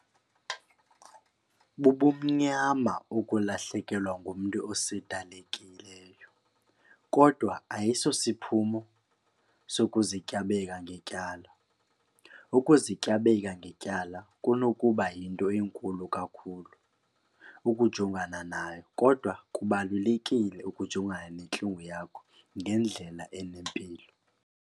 Bubumnyama ukulahlekelwa ngumntu osedalekileyo kodwa ayiso siphumo sokuzityabeka ngetyala. Ukuzityabeka ngetyala kunokuba yinto enkulu kakhulu ukujongana nayo kodwa kubalulekile ukujongana nentlungu yakho ngendlela enempilo.